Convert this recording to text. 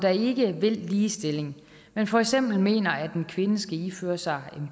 ikke vil ligestilling men for eksempel mener at en kvinde skal iføre sig